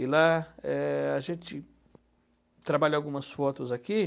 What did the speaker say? E lá é a gente trabalha algumas fotos aqui.